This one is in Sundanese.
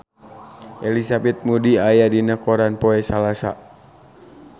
Elizabeth Moody aya dina koran poe Salasa